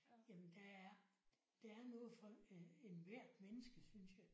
Jamen der er der er noget for enhver menneske synes jeg